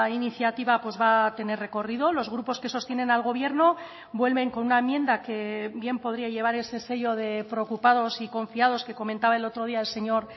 iniciativa va a tener recorrido los grupos que sostienen al gobierno vuelven con una enmienda que bien podría llevar ese sello de preocupados y confiados que comentaba el otro día el señor